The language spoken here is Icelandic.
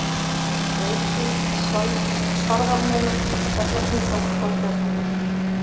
Reiðgil, Svarðarmelar, Hjallatunga, Þorbjarnarvöllur